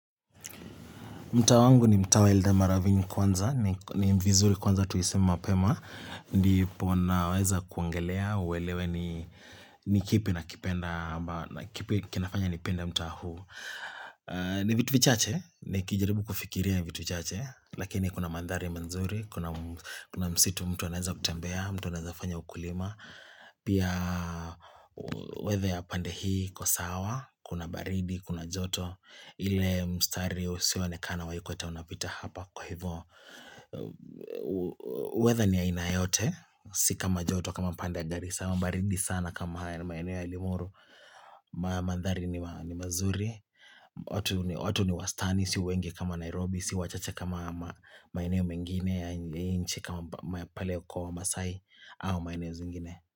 Mtaa wangu ni mtaa welda maravini kwanza, ni vizuri kwanza tuiseme mapema, ndipo naweza kuongelea, uelewe ni ni kipi nakipenda, ama ni kipi kinafanya nipende mtaa huu. Ni vitu vichache, nikijaribu kufikiria vitu vichache, lakini kuna mandhari nzuri, kuna msitu mtu anaweza kutembea, mtu anaweza kufanya ukulima, pia weather ya pande hii iko sawa, kuna baridi, kuna joto, ile mstari usioonekana wa ikweta unapita hapa kwa hivyo Weather ni aina yote Si kama joto kama pande ya garisa ama baridi sana kama maeneo ya limoro mandhari ni mazuri, watu ni wastani, si wengi kama Nairobi si wachache kama maeneo mengine ya nchi kama pale kwa wamasai au maeneo zingine.